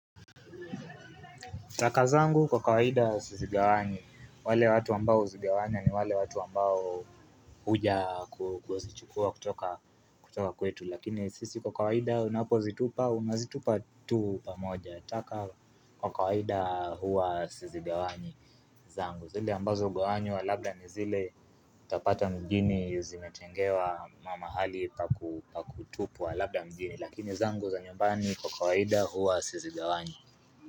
Taka zangu kwa kawaida sizigawanyi, wale watu ambao uzigawanya ni wale watu ambao huja kuzichukua kutoka kwetu Lakini sisi kwa kawaida unapo zitupa, unazitupa tu pamoja taka kwa kawaida huwa sizigawanyi zangu zile ambazo hugawanywa ni zile labda ni zile Utapata mjini zimetengewa mahali pa kutupwa labda mjni Lakini zangu za nyumbani kwa kawaida huwa sizigawanyi.